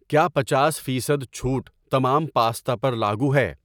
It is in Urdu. کیا پنچاس فیصد چھوٹ تمام پاستا پر لاگو ہے؟